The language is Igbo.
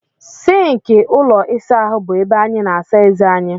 Sịnkị ime ụlọ ịsa ahụ bụ ebe anyị na-asa eze anyị.